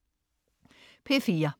P4: